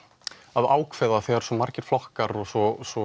að ákveða þegar svona margir flokkar og svo svo